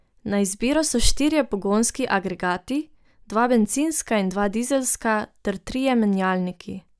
Na izbiro so štirje pogonski agregati, dva bencinska in dva dizelska, ter trije menjalniki.